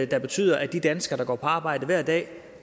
der betyder at de danskere der går på arbejde hver dag